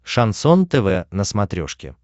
шансон тв на смотрешке